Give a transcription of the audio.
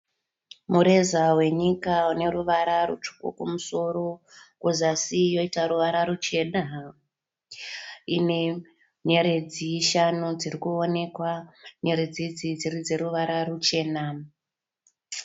Mureza wenyika une ruvara rutsvuku kumusoro. Kuzasi yoita ruvara ruchena. Ine nyeredzi shanu dziri kuonekwa. Nyeredzi idzi dziri dzeruvara ruchena.